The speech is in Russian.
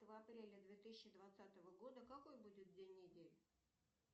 апреля две тысячи двадцатого года какой будет день недели